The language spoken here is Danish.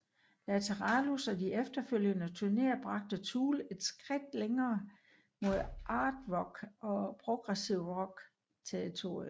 Lateralus og de efterfølgende turnéer bragte Tool et skridt længere mod art rock og progressiv rock territoriet